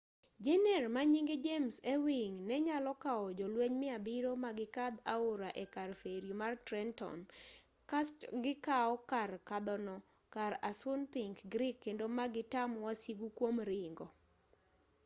jener manyinge james ewing nenyalo kawo jolueny 700 magikadh aora ekar feri mar trenton kast gikau kar kadhono kar assunpink creek kendo magitam wasigu kuom ringo